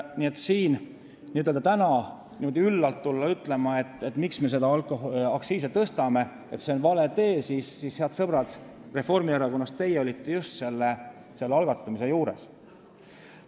Nii et kui te täna niimoodi üllalt tulete ütlema, et miks me küll aktsiise tõstame, et see on vale tee, siis, head sõbrad Reformierakonnast, just teie olite selle asja algatamise juures.